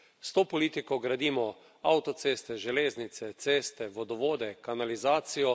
S to politiko gradimo avtoceste, železnice, ceste, vodovode, kanalizacijo.